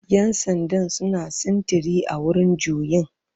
Yan sandan suna sintiri a wurin juyin.